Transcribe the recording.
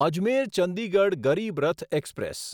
Ajmer Chandigarh Garib Rath express